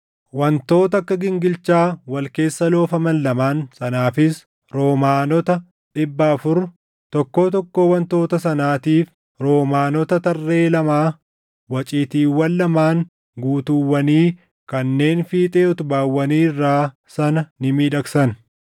wantoota akka gingilchaa wal keessa loofaman lamaan sanaafis roomaanota dhibba afur, tokkoo tokkoo wantoota sanaatiif roomaanota tarree lamaa waciitiiwwan lamaan guutuuwwanii kanneen fiixee utubaawwanii irraa sana ni miidhagsan;